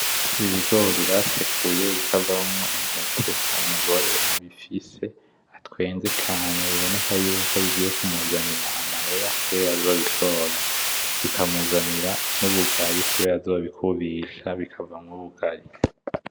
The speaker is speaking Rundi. Ibigori basekuye bikavamwo intete umugore abifise atwenze cane , bibonekako yuko bigiye kumuzanira amahera kuberako azobishora, bikamuzanira nubugari kubera azobikubisha bikamuzaniramwo ubugari .